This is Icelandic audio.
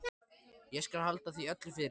Ég skal halda því öllu fyrir mig.